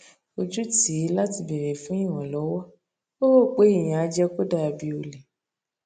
ojú tì í láti béèrè fún ìrànlówó ó rò pé ìyẹn á jé kó dà bí ole